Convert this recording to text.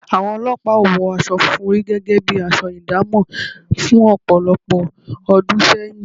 Àwọn olọ́pàá ò wọ aṣọ funfun rí gẹ́gẹ́ bi aṣọ ìdámọ̀ fún ọ̀pọ̀lọpọ̀ ọdún sẹ́yìn